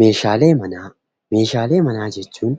Meeshaalee Manaa: meeshaalee manaa jechuun